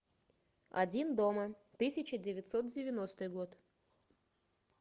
один дома тысяча девятьсот девяностый год